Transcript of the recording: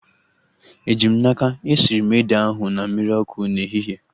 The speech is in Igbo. Eji m n'aka, esiri m ede ahu na mmiri ọkụ n'ehihie